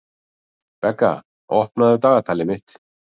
Begga, opnaðu dagatalið mitt.